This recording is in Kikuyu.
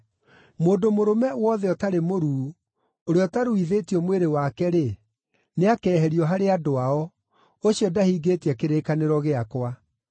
Mũndũ mũrũme wothe ũtarĩ mũruu, ũrĩa ũtaruithĩtio mwĩrĩ wake-rĩ, nĩakeherio harĩ andũ ao; ũcio ndahingĩtie kĩrĩkanĩro gĩakwa.”